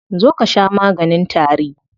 Zo ka sha maganin tari.